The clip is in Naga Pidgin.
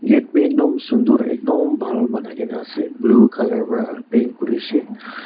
gate b ekdom sundur ekdom bhal banai gina ase blue color para paint kurishe.